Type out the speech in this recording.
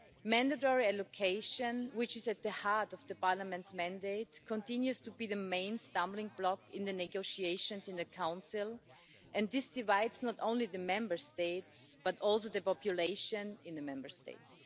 Mandatory allocation, which is at the heart of Parliament's mandate, continues to be the main stumbling block in the negotiations in the Council, and this divides not only the Member States, but also the populations of the Member States.